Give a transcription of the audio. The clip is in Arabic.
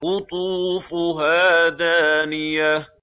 قُطُوفُهَا دَانِيَةٌ